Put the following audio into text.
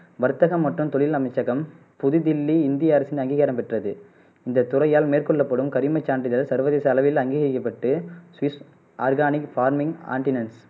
வர்த்தகம் மற்றும் தொழில் அமைச்சகம் புதுதில்லி இந்திய அரசின் அங்கிகாரம் பெற்றது இந்த துறையால் மேற்கொள்ளப்படும் கரிம சான்றிதழ் சர்வதேச அளவில் அங்கிகரிக்கப்பட்டு ஸ்விஸ் ஆர்கானிக் ஃபார்மிங்க் ஆன்டினென்ட்ஸ்